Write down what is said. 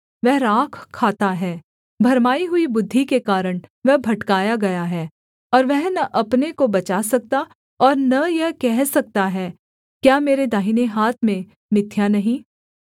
वह राख खाता है भरमाई हुई बुद्धि के कारण वह भटकाया गया है और वह न अपने को बचा सकता और न यह कह सकता है क्या मेरे दाहिने हाथ में मिथ्या नहीं